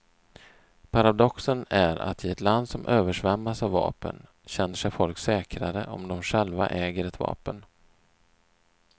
Paradoxen är att i ett land som översvämmas av vapen känner sig folk säkrare om de själva äger ett vapen.